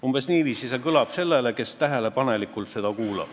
Umbes niiviisi kõlab see sellele, kes tähelepanelikult kuulab.